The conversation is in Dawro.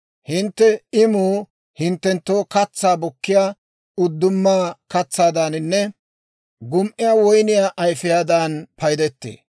Hintte imuu hinttenttoo katsaa bukkiyaa uddumaa katsaadaaninne gum"iyaa woyniyaa ayifiyaadan paydettee.